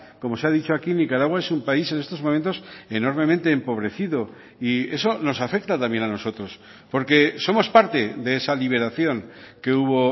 como se ha dicho aquí nicaragua es un país en estos momentos enormemente empobrecido y eso nos afecta también a nosotros porque somos parte de esa liberación que hubo